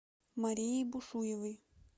марией бушуевой